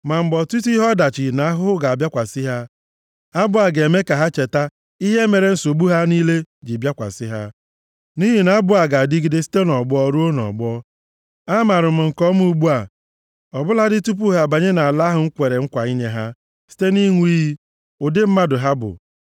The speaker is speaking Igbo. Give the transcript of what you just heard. Ma mgbe ọtụtụ ihe ọdachi na ahụhụ ga-abịakwasị ha, abụ a ga-eme ka ha cheta ihe mere nsogbu ha niile ji bịakwasị ha, nʼihi na abụ a ga-adịgide site nʼọgbọ ruo nʼọgbọ. Amaara m nke ọma ugbu a, ọ bụladị tupu ha abanye nʼala ahụ m kwere nkwa inye ha site nʼịṅụ iyi, ụdị mmadụ ha bụ.”